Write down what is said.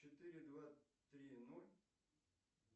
четыре два три ноль